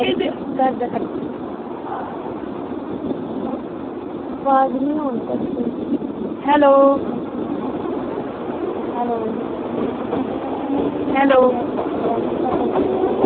ਘਰ ਦਾ ਖਰਚ ਆਵਾਜ਼ ਨਹੀਂ ਆਉਂਦੀ ਤੁਹਾਡੀ ਸਹੀ ਹੈਲੋ ਹੈਲੋ ਹੈਲੋ ਡੈਡੀ ਘਰ ਦਾ ਖਰਚਾ।